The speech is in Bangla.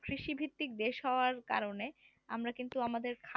কৃষিভিত্তিক দেশ হওয়ার কারণে আমরা কিন্তু আমাদের